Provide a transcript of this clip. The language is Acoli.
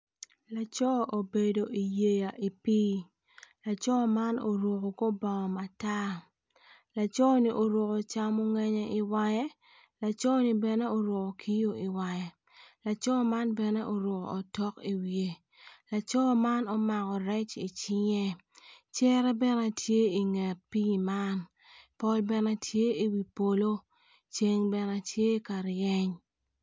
Laco obedo i yeya i pii laco man oruko kor bongo matar laconi oruko camongenye i wange laco-ni bene oruko kiyo i wange laco man bene oruko otok i wiye laco man omako rec i cinge cere bene tye i nget pii man pol bene tye i wi polo ceng bene tye ka reny.